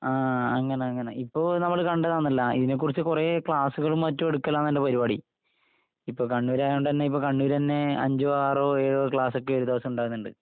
ആ, അങ്ങനെ, അങ്ങനെ. ഇപ്പൊ നമ്മള് കണ്ടതാണല്ല. ഇതിനെക്കുറിച്ച് കുറേ ക്ലാസുകളും മറ്റും എടുക്കലാണെന്റെ പരിപാടി. ഇപ്പൊ കണ്ണൂർ ആയോണ്ട് തന്നെ... ഇപ്പൊ കണ്ണൂര് തന്നെ അഞ്ചോ ആറോ ഏഴോ ക്ലാസ്സൊക്കെ ഒരുദിവസം ഉണ്ടാകുന്നുണ്ട്.